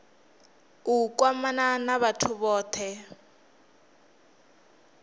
u kwamana na vhathu vhothe